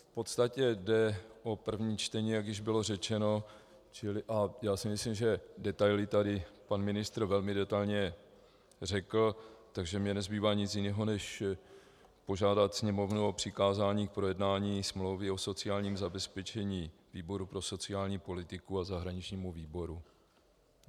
V podstatě jde o první čtení, jak již bylo řečeno, a já si myslím, že detaily tady pan ministr velmi detailně řekl, takže mně nezbývá nic jiného, než požádat Sněmovnu o přikázání k projednání smlouvy o sociálním zabezpečení výboru pro sociální politiku a zahraničnímu výboru.